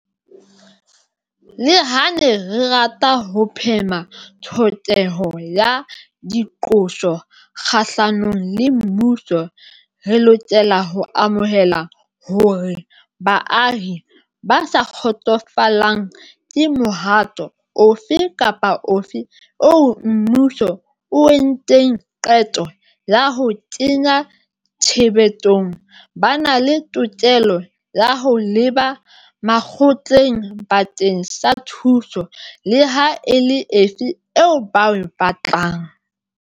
Leha re ne re rata ho phema tlhokeho ya diqoso kgahlanong le mmuso, re lokela ho amohela hore baahi ba sa kgotsofalang ke mohato ofe kapa ofe oo mmuso o entseng qeto ya ho o kenya tshebetsong ba na le tokelo ya ho leba makgotleng bakeng sa thuso leha e le efe eo ba e batlang.